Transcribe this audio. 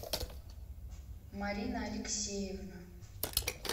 марина алексеевна